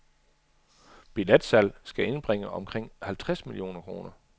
Billetsalg skal indbringe omkring halvtreds millioner kroner.